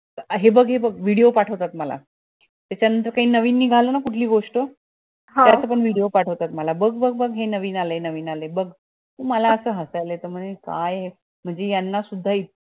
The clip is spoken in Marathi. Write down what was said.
हे बग हे बग video पटवतात मला ते त्याचं नवीन निगाली ना कुठली गोष्ट त्याचं पण video पटवतात मला बग बग बग हे नवीन आलाय नवीन आलाय बग म्हणजे मला असं हसायला येत काय हे म्हणजे याना सुद्धा इच्छा